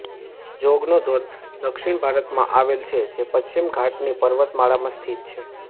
જોગનો ધોધ દક્ષિણ ભારતમાં આવેલ છે જે પશ્ચિમ ઘાટની પર્વતમાળામાં સ્થિત છે